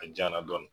A jayan na dɔɔni